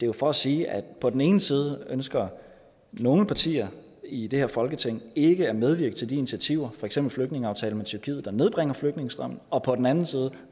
jo for at sige at på den ene side ønsker nogle partier i det her folketing ikke at medvirke til de initiativer for eksempel flygtningeaftalen med tyrkiet der nedbringer flygtningestrømmen og på den anden side